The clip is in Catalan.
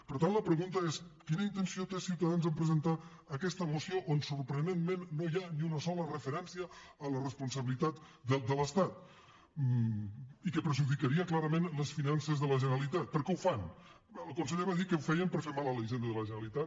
per tant la pregunta és quina intenció té ciutadans en presentar aquesta moció on sorprenentment no hi ha ni una sola referència a la responsabilitat de l’estat i que perjudicaria clarament les finances de la generalitat per què ho fan el conseller va dir que ho feien per fer mal a la hisenda de la generalitat